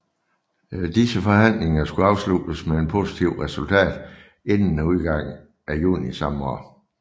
Disse forhandlinger skulle afsluttes med et positivt resultat inden udgangen af juni samme år